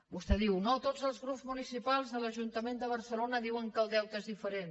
vostè diu no tots els grups municipals a l’ajuntament de barcelona diuen que el deute és diferent